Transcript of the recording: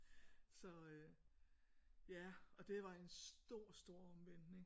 Så ja og det var en stor stor omvæltning